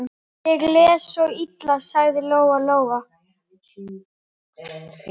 Ég les svo illa, sagði Lóa-Lóa.